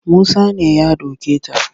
Musa ne ya doke ta